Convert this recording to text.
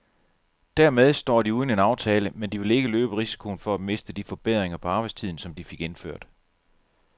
Dermed står de uden en aftale, men de vil ikke løbe risikoen for at miste de forbedringer på arbejdstiden, som de fik indført.